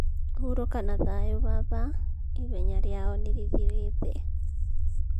(Huuroka na thayũ baba, ihenya rĩao nĩ rĩthirĩte.)